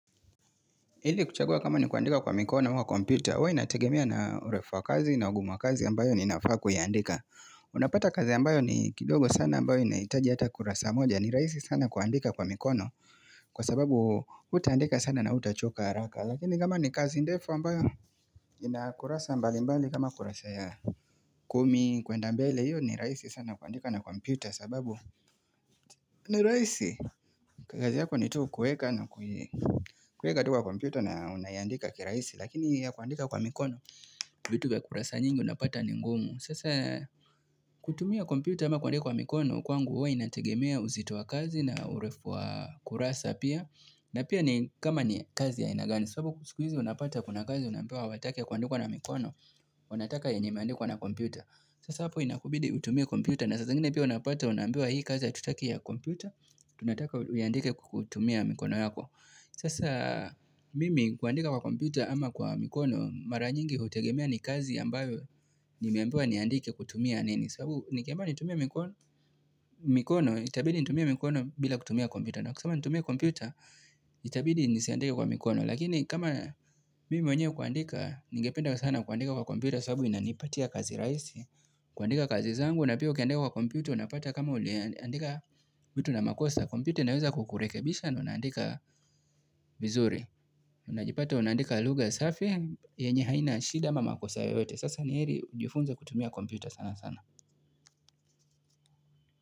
Ili kuchagua kama ni kuandika kwa mikono mwa kompyuta, uwa inategemea na urefu wa kazi na ugum wa kazi ambayo ninafaa kuiandika. Unapata kazi ambayo ni kidogo sana ambayo inahitaji hata kurasa moja ni raisi sana kuandika kwa mikono kwa sababu utaandika sana na utachoka haraka lakini kama ni kazi ndefu ambayo ina kurasa mbali mbali kama kurasa ya kumi kwenda mbele hiyo ni raisi sana kuandika na kompyuta sababu ni raisi, kazi yako ni tu kueka na kui kueka tu kwa kompyuta na unayandika kiraisi lakini ya kuandika kwa mikono, vitu kwa kurasa nyingi unapata ni ngumu. Sasa kutumia kompyuta ama kuandika kwa mikono kwangu uwa inategemea uzito wa kazi na urefu wa kurasa pia na pia ni kama ni kazi ya aina gani, sabu kusikwizi unapata kuna kazi unampewa watake kuandikwa na mikono wanataka yenye imeandika na kompyuta. Sasa hapo inakubidi utumie kompyuta na saa zingine pia unapata unaambiwa hii kazi hatutaki ya kompyuta, tunataka uiandike kutumia mikono yako. Sasa mimi kuandika kwa kompyuta ama kwa mikono mara nyingi hutegemea ni kazi ambayo nimeambiwa niandike kutumia nini sabu nikiambiwa nitumie mikono mikono, itabidi nitumie mikono bila kutumia kompyuta, na kusama nitumie kompyuta itabidi nisiandike kwa mikono. Lakini kama mimi mwenyewe kuandika, nigependa sana kuandika kwa kompyuta saabu inanipatia kazi raisi, kuandika kazi zangu na pia ukiandika kwa kompyuta, unapata kama uliandika vitu na makosa. Kompyuta inaweza kukurekebisha na unaandika vizuri. Unajipata unaandika lugha safi, yenye haina shida ama makosa yoyote. Sasa ni eri ujifunze kutumia kompyuta sana sana.